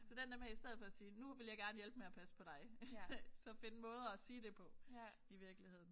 Så den der med i stedet for at sige nu vil jeg gerne hjælpe med at passe på dig så finde måder at sige det på i virkeligheden